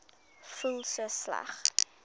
voel so sleg